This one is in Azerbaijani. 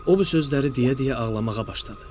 O bu sözləri deyə-deyə ağlamağa başladı.